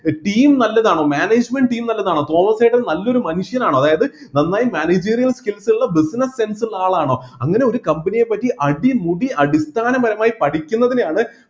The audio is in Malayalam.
team നല്ലതാണോ management team നല്ലതാണോ തോമസേട്ടൻ നല്ലൊരു മനുഷ്യനാണോ അതായത് നന്നായി managerial skills ഉള്ള business sense ഉള്ള ആളാണോ അങ്ങനെ ഒരു company യെ പറ്റി അടിമുടി അടിസ്ഥാനപരമായി പഠിക്കുന്നതിനെയാണ്